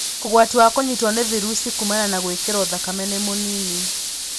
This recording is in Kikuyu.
Ũgwati wa kũnyitwo nĩ vairasi kumana na gwĩkĩro thakame nĩ mũnini.